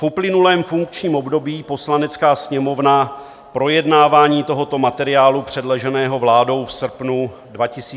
V uplynulém funkčním období Poslanecká sněmovna projednávání tohoto materiálu, předloženého vládou v srpnu 2020, nezahájila.